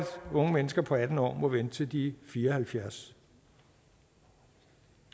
unge mennesker på atten år må vente til de fire og halvfjerds